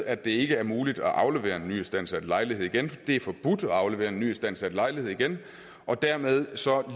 at det ikke er muligt at aflevere en nyistandsat lejlighed igen det er forbudt at aflevere en nyistandsat lejlighed igen og dermed